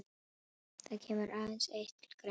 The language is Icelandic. Það kemur aðeins eitt til greina.